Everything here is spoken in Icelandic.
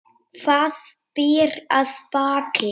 Hvað býr að baki?